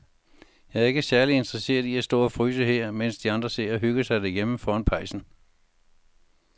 Jeg er ikke særlig interesseret i at stå og fryse her, mens de andre sidder og hygger sig derhjemme foran pejsen.